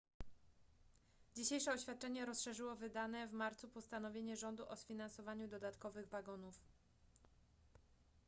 dzisiejsze oświadczenie rozszerzyło wydane w marcu postanowienie rządu o sfinansowaniu dodatkowych wagonów